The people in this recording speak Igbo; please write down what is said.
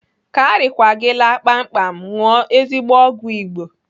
Ka arịkwa gị laa kpamkpam, ṅụọ ezigbo ọgwụ Igbo.